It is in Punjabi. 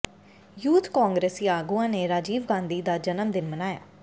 ਯੂਥ ਕਾਂਗਰਸੀ ਆਗੂਆਂ ਨੇ ਰਾਜੀਵ ਗਾਂਧੀ ਦਾ ਜਨਮ ਦਿਨ ਮਨਾਇਆ